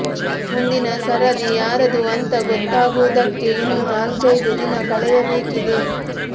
ಮುಂದಿನ ಸರದಿ ಯಾರದು ಅಂತ ಗೊತ್ತಾಗುವುದಕ್ಕೆ ಇನ್ನೂ ನಾಲ್ಕೈದು ದಿನ ಕಳೆಯಬೇಕಿದೆ